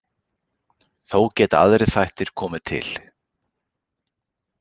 Þó geta aðrir þættir komið til.